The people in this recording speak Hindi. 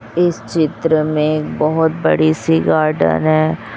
इस चित्र में बहोत बड़ी सी गार्डन है।